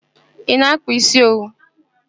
Ị na-akpa isi owu?